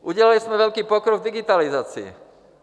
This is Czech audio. Udělali jsme velký pokrok v digitalizaci.